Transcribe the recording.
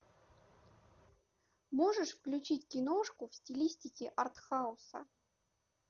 можешь включить киношку в стилистике артхауса